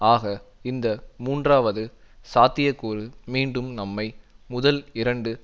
ஆக இந்த மூன்றாவது சாத்தியக்கூறு மீண்டும் நம்மை முதல் இரண்டு